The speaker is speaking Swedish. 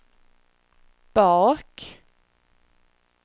bak